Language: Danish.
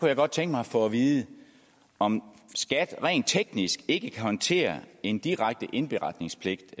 jeg godt tænke mig at få at vide om skat rent teknisk ikke kan håndtere en direkte indberetningspligt